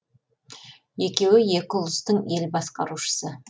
екеуі екі ұлыстың ел басқарушысы